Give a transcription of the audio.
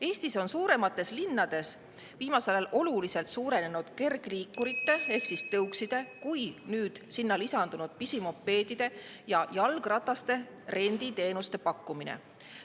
Eestis on suuremates linnades viimasel ajal oluliselt suurenenud nii kergliikurite ehk tõukside kui ka nüüd sinna lisandunud pisimopeedide ja jalgrataste renditeenuste pakkumine.